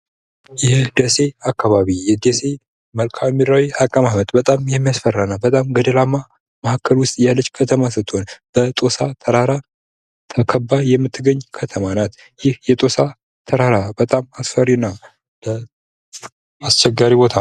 የደሴ አካባቢ የደሴ መልካምድራዊ አቀማመጥ በጣም የሚያፈራ እና በጣም ገደላማ ያለች ከተማ ስትሆን፤ በጦሳ ተራራ ተከባ የምትገኝ ከተማ ናት ይህ የጦሳ ተራራ በጣም አስፈሪ እና አስቸጋሪ ቦታ ነው።